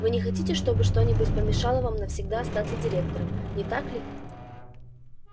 вы не хотите чтобы что-нибудь помешало вам навсегда остаться директором не так ли